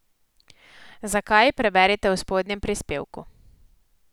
Zakaj, preberite v spodnjem prispevku.